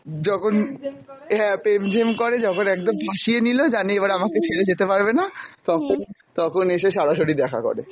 যখন হ্যাঁ প্রেম ঝেম করে, যখন একদম ফাঁসিয়ে নিলো জানে এবার আমাকে ছেড়ে যেতে পারবে না, তখন তখন এসে সরাসরি দেখা করে।